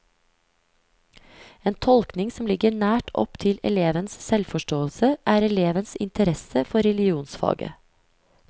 En tolkning som ligger nært opp til elevens selvforståelse, er elevens interesse for religionsfaget.